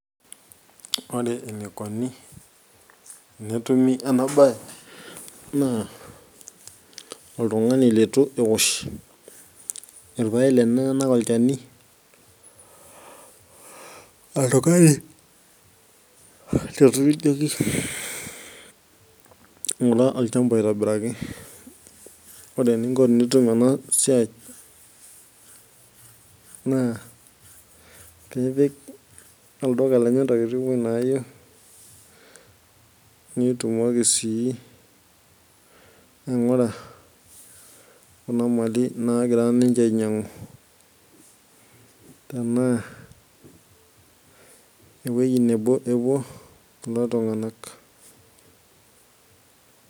Ore enikoni tenetumi enabaye naa oltung'ani litu eosh irpaek lenyenak olchani, oltung'ani litu iing'orr olchamba aitobiraki, ore eninko enitum ena siai nipik olduka lenye ntokitin naayieu netumoki sii kuna mali naagira ainyiang'u tenaa ewuei nebo epuo kulo tung'anak.